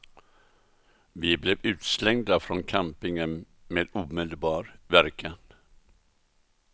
Vi blev utslängda från campingen med omedelbar verkan.